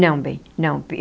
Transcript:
Não, bem, não.